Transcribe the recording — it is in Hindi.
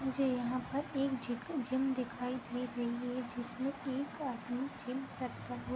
मुझे यहाँ पर एक झिक जिम दिखाई दे रही है जिसमें एक आदमी जिम करता हुआ --